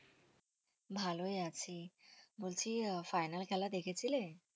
ভালোই আছি বলছি আহ final খেলা দেখেছিলে?